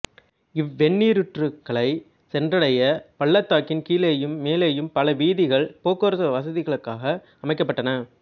இவ்வெந்நீரூற்றுக்களைச் சென்றடைய பள்ளத்தாக்கின் கீழேயும் மேலேயும் பல வீதிகள் போக்குவரத்து வசதிகளுக்காக அமைக்கப்பட்டன